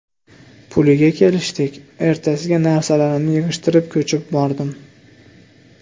Puliga kelishdik, ertasiga narsalarimni yig‘ishtirib, ko‘chib bordim.